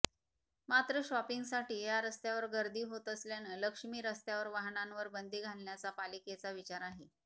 मात्र शॉपिंगसाठी या रस्त्यावर गर्दी होत असल्यानं लक्ष्मी रस्त्यावर वाहनांवर बंदी घालण्याचा पालिकेचा विचार आहे